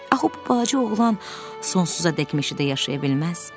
Axı bu balaca oğlan sonsuzadək meşədə yaşaya bilməz?